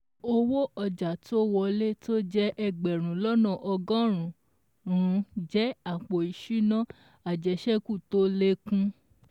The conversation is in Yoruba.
Owó ọjà tó wọlé tó jẹ́ ẹgbẹ̀rún lọ́nà ọgọ́rùn-ún jẹ́ àpò ìsúná àjẹṣẹ́kù tó lékún.